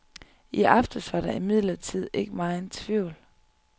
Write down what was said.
I aftes var der imidlertid ikke megen tvivl.